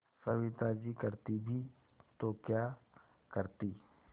सविता जी करती भी तो क्या करती